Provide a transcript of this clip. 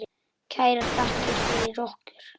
Kærar þakkir fyrir okkur.